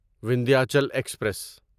Vindhyachal express